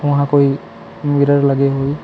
वहाँ कोई मिरर लगे हुई।